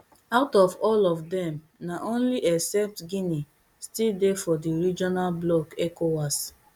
out of all of dem na only except guinea still dey for di regional bloc ecowas